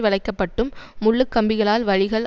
வளைக்கப்பட்டும் முள்ளுக்கம்பிகளால் வழிகள்